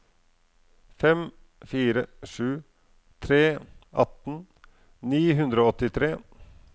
fem fire sju tre atten ni hundre og åttitre